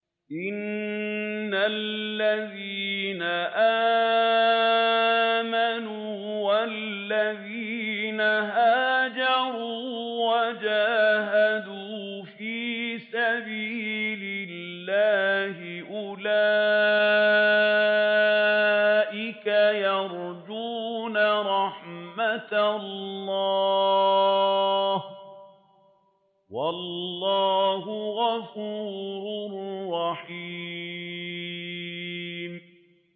إِنَّ الَّذِينَ آمَنُوا وَالَّذِينَ هَاجَرُوا وَجَاهَدُوا فِي سَبِيلِ اللَّهِ أُولَٰئِكَ يَرْجُونَ رَحْمَتَ اللَّهِ ۚ وَاللَّهُ غَفُورٌ رَّحِيمٌ